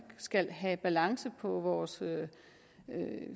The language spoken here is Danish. skal have balance på vores